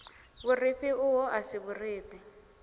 vhurifhi uho a si vhurifhi